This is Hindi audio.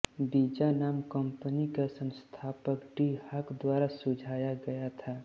वीज़ा नाम कंपनी के संस्थापक डी हॉक द्वारा सुझाया गया था